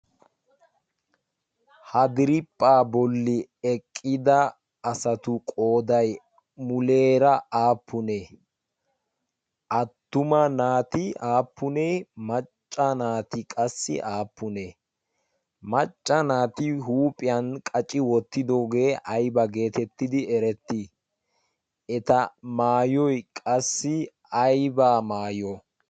hadiriphpha bolli eqqida asatu qoodai muleera aappunee attuma naati aappunee macca naati qassi aappunee macca naati huuphiyan qaci wottidoogee aiba geetettidi erettii eta maayoy qassi aybaa maayo